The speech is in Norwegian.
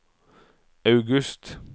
august